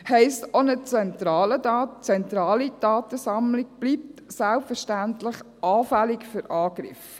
Das heisst: Auch eine zentrale Datensammlung bleibt selbstverständlich anfällig für Angriffe.